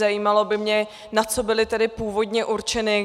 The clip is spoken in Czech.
Zajímalo by mě, na co byly tedy původně určeny.